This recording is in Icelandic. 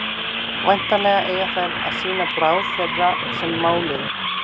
væntanlega eiga þær að sýna bráð þeirra sem máluðu